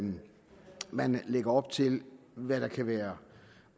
man lægger op til hvad der kan være